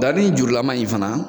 Daranin jurulaman in fana